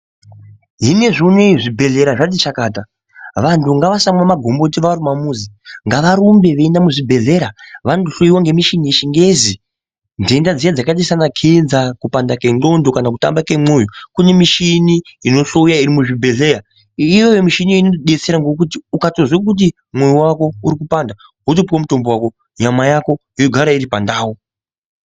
Hino izvonizvi zvibhedhlera zvati chakata. Vantu ngavasamwa magomboti vari kumamuzi. Ngavarumbe veienda muzvibhedlera vandohloyiwa ngemishini yeChiNgezi. Ndenda dziya dzakaita sanaKenza, kupanda kwendxondo kana kutamba kemwoyo. Kune mishini inohloya iri muzvibhedhleya. Iyoyo mishini inotodetsera ngokuti ukatozwo kuti mwoyo wako uri kupanda, wotopuwe mutombo wako nyama yako yogara iri pandau.